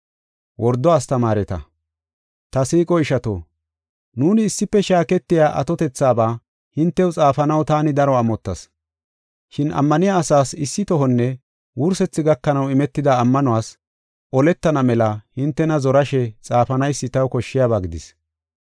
Ta siiqo ishato, nuuni issife shaaketiya atotethaaba hintew xaafanaw taani daro amottas. Shin ammaniya asaas issitohonne wursethi gakanaw imetida ammanuwas oletana mela hintena zorashe xaafanaysi taw koshshiyaba gidis.